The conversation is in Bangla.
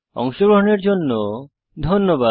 অংশগ্রহনের জন্য ধন্যবাদ